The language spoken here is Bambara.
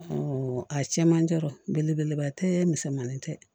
a cɛ man ca belebeleba tɛ misɛnmani tɛ